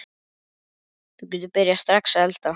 Þú getur byrjað strax að elda.